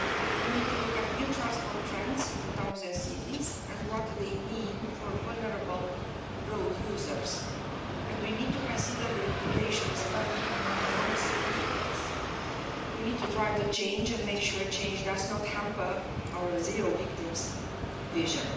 We need to look at new transport trends in towns and cities and what they mean for vulnerable road users, and we need to consider the implications of autonomous vehicles. We need to drive the change and make sure change does not hamper our zero victims vision.